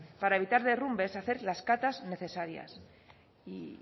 para evitar derrumbes hacer las catas necesarias y